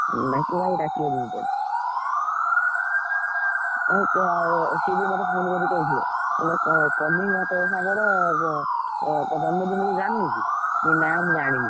ଡାକିବନା ଡାକିଦବ ଟିକେ। ଇଏ ସିଏ ବି ମତେ phone କରିକି କହିଥିଲେ ~କ କହ୍ନେଇ ବା ତୋ ସାଙ୍ଗର ଏଁ ତା ଜନ୍ମ ଦିନ ଜାଣିନୁ କି? ମୁଁ କହିଲି ନା ମୁଁ ଜାଣିନି।